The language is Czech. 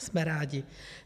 Jsme rádi.